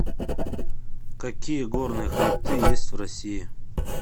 какие горные хребты есть в россии